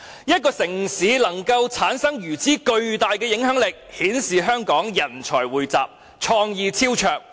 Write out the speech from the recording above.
一個城市能產生如此巨大的影響力，顯示了香港人才匯集，創意超卓。